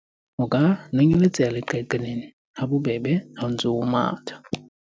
o ka nonyeletseha leqaqailaneng ha bobebe ha o ntse o matha